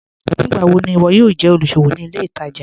Nígbàwọ̀ ni iwọ yóò jẹ olúṣọ̀wọ̀ ní ilẹ̀ ìtaja?